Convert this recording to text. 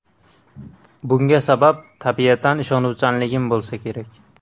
Bunga sabab tabiatan ishonuvchanligim bo‘lsa kerak.